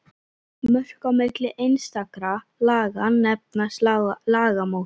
Mörk á milli einstakra laga nefnast lagamót.